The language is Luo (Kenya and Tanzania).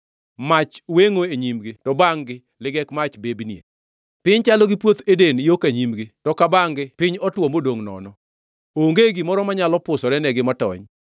Mach wengʼo nyimgi, to bangʼ-gi ligek mach bebnie. Piny chalo gi puoth Eden yo ka nyimgi to ka bangʼ-gi piny otwo modongʼ nono, onge gimoro manyalo pusorenegi matony.